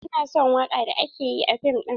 Ina son waka da aka yi a fim din.